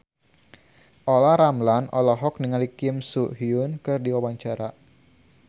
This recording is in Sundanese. Olla Ramlan olohok ningali Kim So Hyun keur diwawancara